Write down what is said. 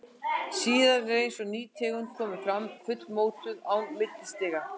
Síðan er eins og ný tegund komi fram, fullmótuð, án millistiga.